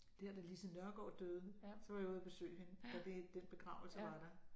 Der da Lise Nørgaard døde så var jeg ude at besøge hende da det den begravelse var der